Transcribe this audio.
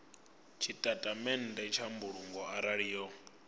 tshitatamennde tsha mbulungo arali yo